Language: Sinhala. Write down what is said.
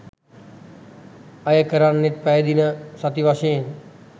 අයකරන්නෙත් පැය දින සති වශයෙන්